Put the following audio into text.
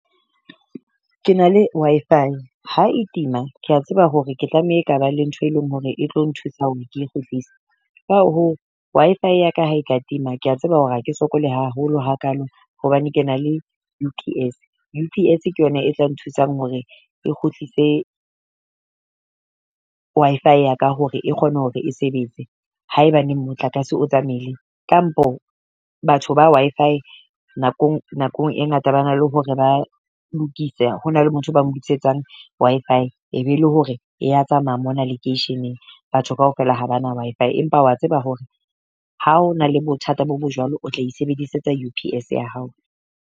Ke na le Wi-Fi ha e tima, kea tseba hore ke tlameha ka ba le ntho e leng hore e tlo nthusa hore ke kgutlise. Ka hoo Wi-Fi ya ka ha e ka tima kea tseba hore ha ke sokola haholo hakalo hobane ke na le U_P_S, U_P_S ke yona e tla nthusang hore e kgutlise Wi-Fi ya ka hore e kgone hore e sebetse haebaneng motlakase o tsamaile. Kampo batho ba Wi-Fi nakong nakong e ngata bana le hore ba lokise ho na le motho ba lokisetsang Wi-Fi. E be le hore ya tsamaya mona lekeisheneng. Batho kaofela ha bana Wi-Fi empa wa tseba hore ha o na le bothata bo bo jwalo, o tla isebedisetsa U_P_S ya hao.